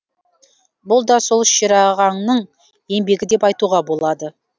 бұл да сол шерағаңның еңбегі деп айтуға болады